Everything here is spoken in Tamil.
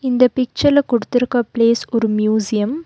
இந்த பிச்சர்ல குடுத்திருக்க பிளேஸ் ஒரு மியூசியம் .